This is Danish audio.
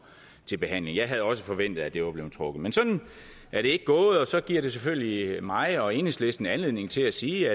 til behandling jeg havde også forventet at det var blevet trukket men sådan er det ikke gået og så giver det selvfølgelig mig og enhedslisten anledning til at sige